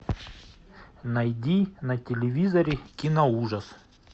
найди на телевизоре кино ужас